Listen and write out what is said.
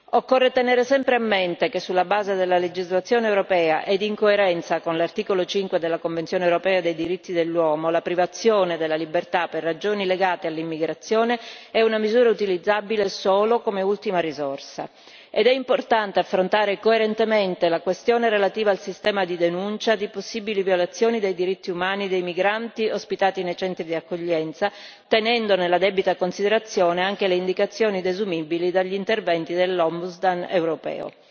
Occorre tenere sempre a mente che, sulla base della legislazione europea ed in coerenza con l'articolo 5 della Convenzione europea dei diritti dell'uomo, la privazione della libertà per ragioni legate all'immigrazione è una misura utilizzabile solo come ultima risorsa ed è importante affrontare coerentemente la questione relativa al sistema di denuncia di possibili violazioni dei diritti umani dei migranti ospitati nei centri di accoglienza, tenendo nella debita considerazione anche le indicazioni desumibili dagli interventi dell'Ombudsman europeo.